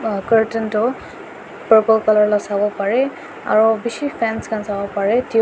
curtain tu purple colour laga sabo para aru bisi fans khan sabo pare--